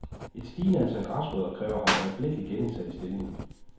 Et stigende antal græsrødder kræver ham øjeblikkelig genindsat i stillingen.